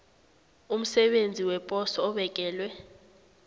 umsebenzi weposo obekelwe